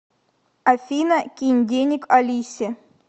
афина кинь денег алисе